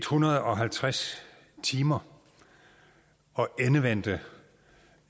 hundrede og halvtreds timer og endevendte